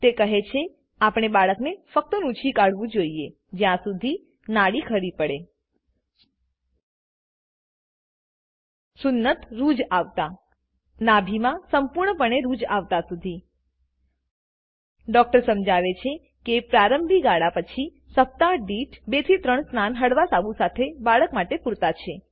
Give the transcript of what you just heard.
તે કહે છે આપણે બાળકને ફક્ત નુંછી કાઢવું જોઈએ જ્યાંસુધી નાળ ખરી પડે સુન્નત રૂઝ આવતા નાભિમાં સંપૂર્ણપણે રૂઝ આવતા સુધી ડૉક્ટર સમજાવે છે કે પ્રારંભિક ગાળા પછી સપ્તાહ દીઠ 2 3 સ્નાન હળવા સાબુ સાથે બાળક માટે પૂરતા છે